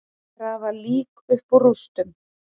Grafa lík upp úr rústum